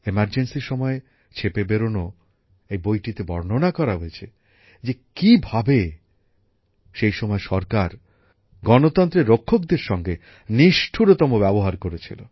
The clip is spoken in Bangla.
জরুরী অবস্থার সময়ে ছেপে বেরোনো এই বইটিতে বর্ণনা করা হয়েছে যে কীভাবে সেই সময় সরকার গণতন্ত্রের রক্ষকদের সঙ্গে নিষ্ঠুরতম ব্যবহার করেছিল